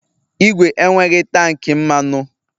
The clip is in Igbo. Ìgwè enweghị tank mmanụ